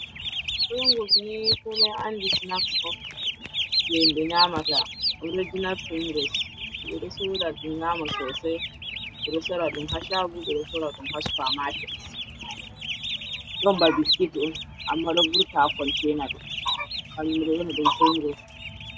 Fingis ni koomoy anndi snax on, jey yimɓe nyaamata, original Fingis, ɓe ɗo sooda ɗum yi'aama sooday, ɓe ɗo soora ɗum haa shaago, ɓe ɗo sooda ɗum haa Supamaaket, ɗon ba biskit on, ammaa ɗon vurta haa konteena mum, kannjum ɓe ƴoona ɗum Fingis.